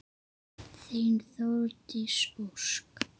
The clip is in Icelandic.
Þín Þórdís Ósk.